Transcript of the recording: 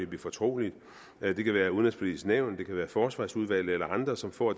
blive fortroligt det kan være udenrigspolitisk nævn det kan være forsvarsudvalget eller andre som får